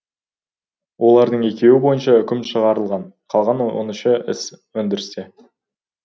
олардың екеуі бойынша үкім шығарылған қалған он үш іс өндірісте